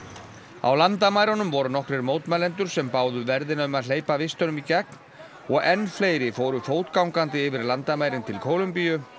á landamærunum voru nokkrir mótmælendur sem báðu verðina um að hleypa vistunum í gegn og enn fleiri fóru fótgangandi yfir landamærin til Kólumbíu